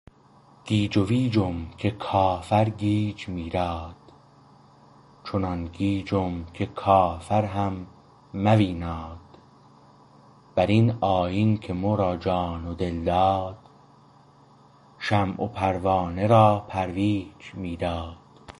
گیج و ویجم که کافر گیج میراد چنان گیجم که کافر هم مویناد بر این آیین که مو را جان و دل داد شمع و پروانه را پرویج می داد